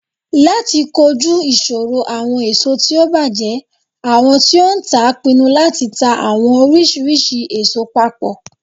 Lati koju iṣoro awọn eso ti o bajẹ, awọn ti o ntaa pinnu lati ta awọn oriṣiriṣi eso papọ.